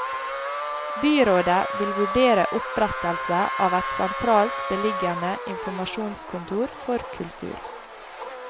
Byrådet vil vurdere opprettelse av et sentralt beliggende informasjonskontor for kultur.